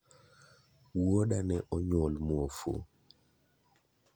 Wuoda ne onyuol muofu.